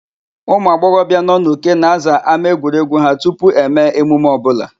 Ụmụagbọghọbịa nọ n'Uke na-aza ámáegwuregwu ha tupu eme emume ọbụla.